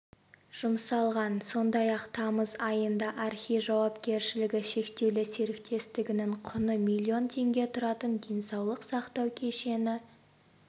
жұмсалған сондай-ақ тамыз айында архей жауапкершілігі шектеулі серіктестігінің құны миллион теңге тұратын денсаулық сақтау кешені